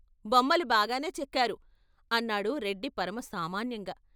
' బొమ్మలు బాగానే చెక్కారు ' అన్నాడు రెడ్డి పరమ సామాన్యంగా.